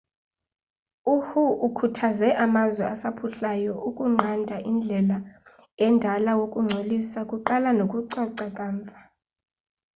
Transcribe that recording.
u-hu ukhuthaze amazwe asaphuhlayo ukunqandaindlela endala wokungcolisa kuqala nokucoca kamva